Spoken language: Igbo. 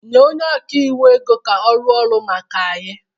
nye onye ọka iwu ego ka ọ rụọ ọrụ maka anyị